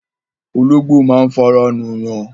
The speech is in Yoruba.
Ológbò máa ń fara nù yàn